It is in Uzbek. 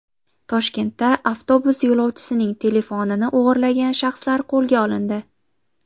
Toshkentda avtobus yo‘lovchisining telefonini o‘g‘irlagan shaxslar qo‘lga olindi.